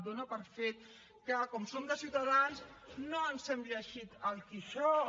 dona per fet que com som de ciutadans no ens hem llegit el quixot